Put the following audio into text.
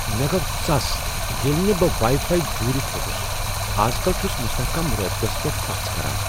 مےٚ گو ژس ییٚلہ نہ بہٕ واٮٔی فایی جُورِتھ ہیوٚکُس ۔ از کل چھٗس مستحکم رٲبطس پیٹھ پژھ كران ۔